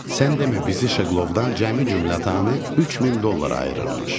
Sən demə bizi Şeqlovdan cəmi-cümlətanı 3000 dollar ayırırmış.